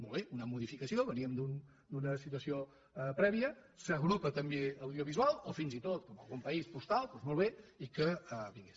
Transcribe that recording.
molt bé una modificació veníem d’una situació prèvia s’agrupa també audiovisual o fins i tot com algun país postal i molt bé que vingués